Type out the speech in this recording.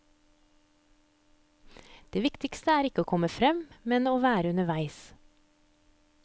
Det viktigste ikke er å komme frem, men å være underveis.